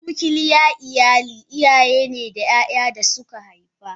A nuclear iyali iyayene da yaya dasu ka haifa.